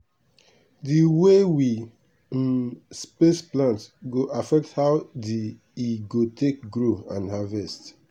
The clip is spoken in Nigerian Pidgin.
d way we um space plant go affect how d e go take grow and harvest.